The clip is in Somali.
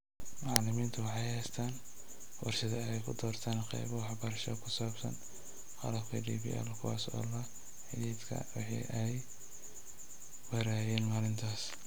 Macallimiintu waxay haystaan ??fursad ay ku doortaan qaybo waxbarasho oo ku saabsan qalabka DPL kuwaas oo la xidhiidha wixii ay barayeen maalintaas.